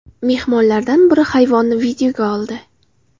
Mehmonlardan biri hayvonni videoga oldi.